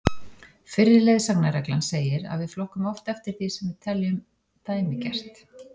Fyrri leiðsagnarreglan segir að við flokkum oft eftir því sem við teljum dæmigert.